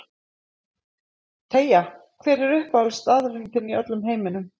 Teygja Hver er uppáhaldsstaðurinn þinn í öllum heiminum?